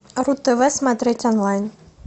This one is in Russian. ру тв смотреть онлайн